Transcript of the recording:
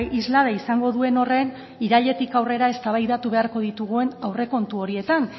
islada izango duen horren irailetik aurrera eztabaidatu beharko ditugun aurrekontu horietan